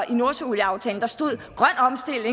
i nordsøaftalen stod og